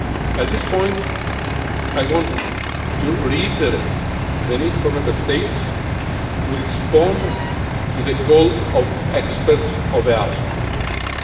At this point, I want to reiterate the need for Member States to respond to the EASO experts'